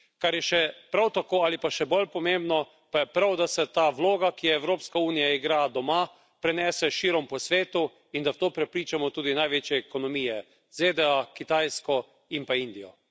Kar je še prav tako ali pa še bolj pomembno, pa je prav, da se ta vloga, ki jo Evropska unija igra doma, prenese širom po svetu in da v to prepričamo tudi največje ekonomije ZDA, Kitajsko in pa Indijo.